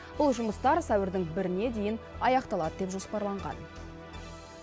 бұл жұмыстар сәуірдің біріне дейін аяқталады деп жоспарланған